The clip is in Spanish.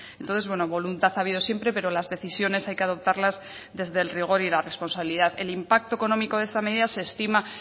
entonces bueno voluntad ha habido siempre pero las decisiones hay que adoptarlas desde el rigor y la responsabilidad el impacto económico de esta medida se estima